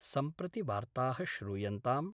सम्प्रति वार्ताः श्रूयन्ताम्